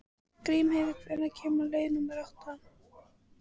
Grímheiður, hvenær kemur leið númer átta?